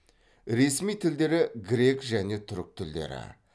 ресми тілдері грек және түрік тілдері